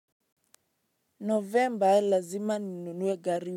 Novemba lazima ninunue gari.